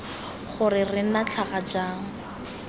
gore re nna tlhaga jang